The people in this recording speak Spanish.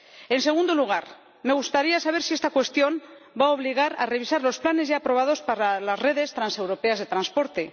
En segundo lugar, me gustaría saber si esta cuestión va a obligar a revisar los planes ya aprobados para las redes transeuropeas de transporte.